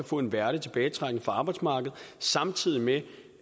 få en værdig tilbagetrækning fra arbejdsmarkedet samtidig med